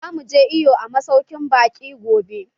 Zamu je iwo a masaukin baƙi gobe.